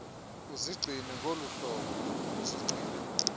uzigcine ngoluhlobo ubuzigcine